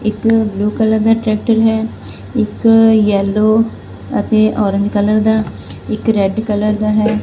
ਇਕ blue colour ਦਾ tractor ਹੈ ਇੱਕ ਯੈਲੋ ਅਤੇ ਔਰੰਜ ਕਲਰ ਦਾ ਇੱਕ ਰੈਡ ਕਲਰ ਦਾ ਹੈ।